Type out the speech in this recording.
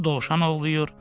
Ovçu dovşan ovlayır.